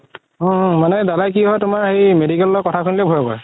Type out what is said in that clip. অ অ মানে দাদা কি হয় তোমাৰ হেৰি medical ৰ কথা শুনিলে ভয় কৰে